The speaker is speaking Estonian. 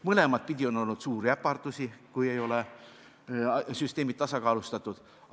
Mõlematpidi on olnud suuri äpardusi, kui süsteemid ei ole tasakaalustatud.